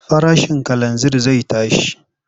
Farashin kalanzir zai tashi.